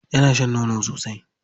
Yana shan nono sosai.